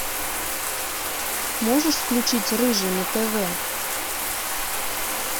можешь включить рыжий на тв